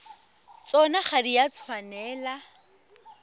tsona ga di a tshwanela